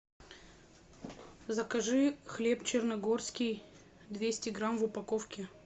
закажи хлеб черногорский двести грамм в упаковке